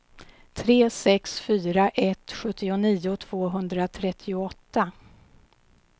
tre sex fyra ett sjuttionio tvåhundratrettioåtta